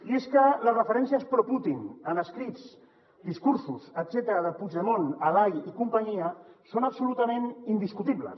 i és que les referències pro putin en escrits discursos etcètera de puigdemont alay i companyia són absolutament indiscutibles